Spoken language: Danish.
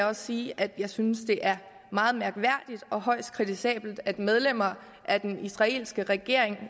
også sige at jeg synes at det er meget mærkværdigt og højst kritisabelt at medlemmer af den israelske regering